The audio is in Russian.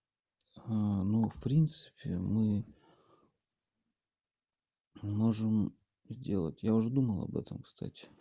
мм ну в принципе мы можем сделать я уже думал об этом кстати